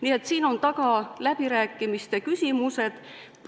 Nii et siin on taga läbirääkimiste küsimused.